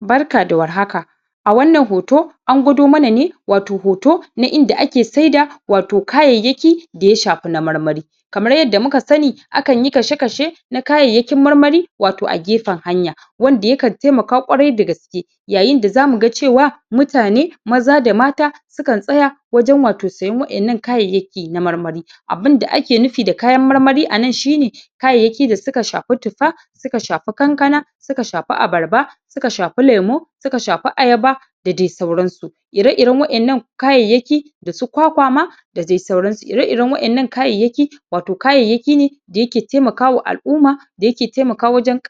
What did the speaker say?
Barka da warhaka a wannan hoto an gwado mana ne watau hoto na inda ake saida watau kayayyaki da ya shafi na marmari kamar yadda muka sani, akan yi kashe-kashe na kayayyakin marmari watau a gefen hanya wanda yakan taimaka ƙwarai da gaske yayin da zamu ga cewa mutane maza da mata Sukan tsaya wajen watau siyan wa'innan kayayyaki na marmari abunda ake nufi da kayan marmari a nan shine kayayyaki a suka shafi tuffa, suka shafi kankana suka shafi abarba, suka shafi lemu, suka shafi ayaba da dai sauransu. Ire-iren wa'innan kayayyaki da su kwakwa ma da dai sauransu su. ire-iren wa'innan kayayyaki watau kayayyaki ne da yake taimaka wa al'umma da yake taimaka wajen